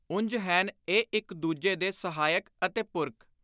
ਉਂਝ ਹੈਨ ਇਹ ਇਕ ਦੂਜੇ ਦੇ ਸਹਾਇਕ ਅਤੇ ਪੁਰਕ।